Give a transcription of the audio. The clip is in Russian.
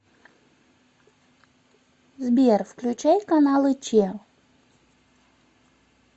сбер включай каналы че